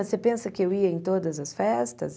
Você pensa que eu ia em todas as festas?